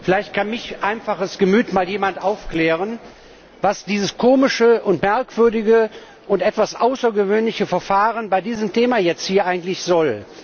Vielleicht kann mich einfaches Gemüt mal jemand aufklären, was dieses komische, merkwürdige und etwas außergewöhnliche Verfahren bei diesem Thema hier jetzt eigentlich soll.